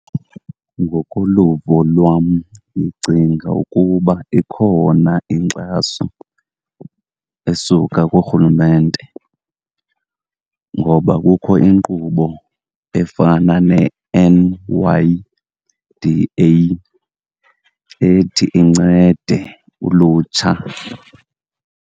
Ngokoluvo lwam, ndicinga ukuba ikhona inkxaso esuka kurhulumente ngoba kukho inkqubo efana ne-N_Y_D_A ethi incede ulutsha.